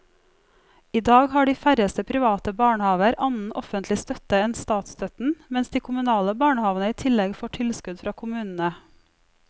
I dag har de færreste private barnehaver annen offentlig støtte enn statsstøtten, mens de kommunale barnehavene i tillegg får tilskudd fra kommunene.